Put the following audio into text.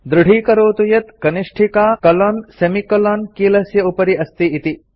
दृढीकरोतु यत् कनिष्ठिका colonsemi colon कीलस्य उपरि अस्ति इति